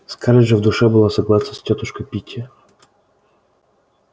скарлетт же в душе была согласна с тётушкой питти